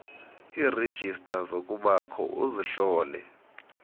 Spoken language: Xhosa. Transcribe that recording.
iirejista zobukho uzihlole